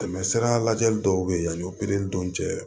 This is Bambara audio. Tɛmɛsira lajɛli dɔw be ye yan o pikiri dun cɛ